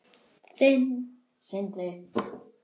Þinn, Sindri.